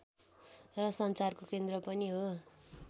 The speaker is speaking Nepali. र सञ्चारको केन्द्र पनि हो